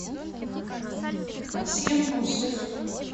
асем гусев